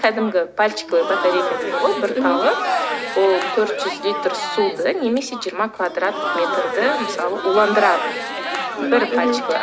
кәдімгі пальчиковая батарейка дейді ғой бір талы ол төрт жүз литр суды немесе жиырма квадрат метрді мысалы уландырады мхм бір пальчиковая